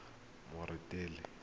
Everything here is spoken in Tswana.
moretele